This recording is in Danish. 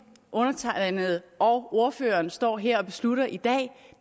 undertegnede og ordføreren står her og beslutter i dag